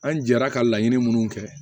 An jɛra ka laɲini minnu kɛ